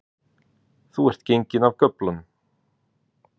Þú ert genginn af göflunum